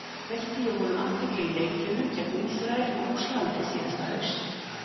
Veitti ég honum athygli í leikjunum gegn Ísrael og Rússlandi síðasta haust?